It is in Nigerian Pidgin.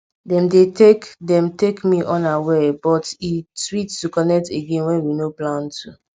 dem dey take me dem take me unaware but e sweet to connect again wen we nor plan to